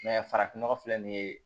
farafin nɔgɔ filɛ nin ye